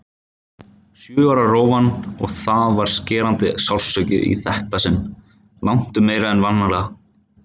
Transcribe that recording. Sjö ára rófan- og það var skerandi sársauki í þetta sinn, langtum meiri en vanalega.